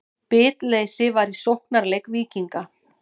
Bitleysi var í sóknarleik Víkinga.